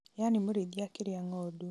yani mũrĩithi akĩrĩa ng'ondu